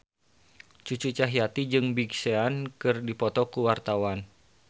Cucu Cahyati jeung Big Sean keur dipoto ku wartawan